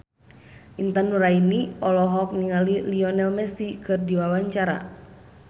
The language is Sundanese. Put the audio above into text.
Intan Nuraini olohok ningali Lionel Messi keur diwawancara